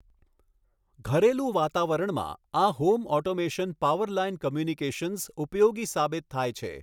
ઘરેલું વાતાવરણમાં, આ હોમ ઓટોમેશન પાવરલાઇન કૉમ્યુનિકેશન્સ ઉપયોગી સાબિત થાય છે